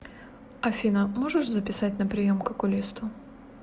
афина можешь записать на прием к окулисту